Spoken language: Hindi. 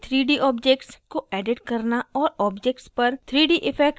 हमने 3d objects को edit करना और objects पर 3d effects लागू करना सीखा